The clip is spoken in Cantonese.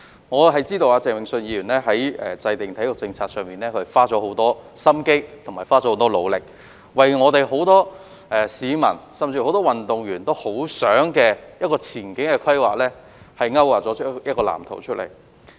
我知道鄭泳舜議員在體育政策方面花了很多心思和努力，為廣大市民和很多運動員期望見到的前景規劃勾劃一份藍圖。